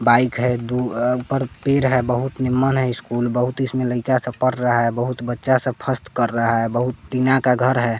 Bike है दु अ पर पेर है बहुत निम्मन है इसकुल बहुत इसमें लइका सब पर रहा है बहुत बच्चा सब फस्त कर रहा है बहुत तीना का घर है।